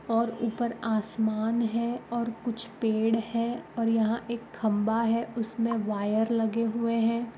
और ऊपर आसमन है और कुछ पेड़ है और यहाँ एक खम्बा है उसमें वायर लगे हुए हैं।